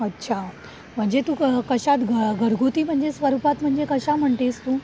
अच्छा म्हणजे तू कशात घरगुती म्हणजे स्वरूपात म्हणजे कसं म्हणतेस तू?